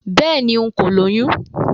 Béèni, n̄ kò lóyún